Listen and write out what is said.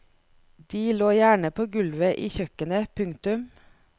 De lå gjerne på gulvet i kjøkkenet. punktum